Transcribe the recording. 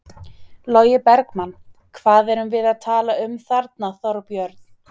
Logi Bergmann: Hvað erum við að tala um þarna Þorbjörn?